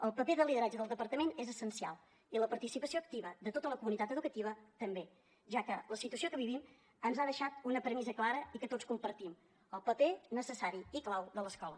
el paper de lideratge del departament és essencial i la participació activa de tota la comunitat educativa també ja que la situació que vivim ens ha deixat una premissa clara i que tots compartim el paper necessari i clau de l’escola